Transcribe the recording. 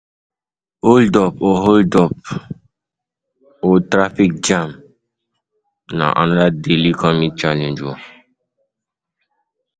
Hold up or Hold up or traffic jam na another daily commute challenge